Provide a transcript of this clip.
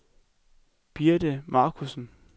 Birte Markussen